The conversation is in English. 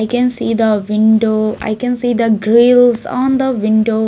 i can see the window i can see the grills on the window.